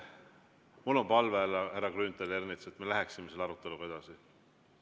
Mul on palve, härra Grünthal ja härra Ernits, et me läheksime selle aruteluga edasi.